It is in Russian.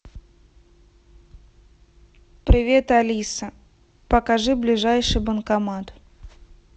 привет алиса покажи ближайший банкомат